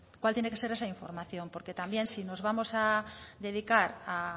cuál tiene que ser esa información porque también si nos vamos a dedicar a